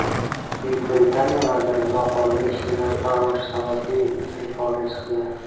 Buyuk Britaniya vaziri noqonuniy ishlagan farroshi sababli iste’foga chiqdi.